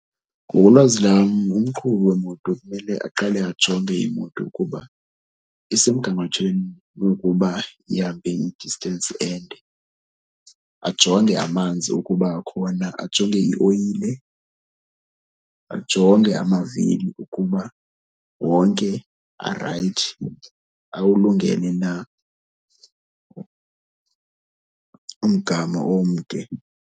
Ngokolwazi lwam umqhubi wemoto kumele aqale ajonge imoto ukuba isemgangathweni wokuba ihambe i-distance ende. Ajonge amanzi ukuba akhona, ajonge ioyile, ajonge amavili ukuba wonke arayithi, awulungele na umgama omde.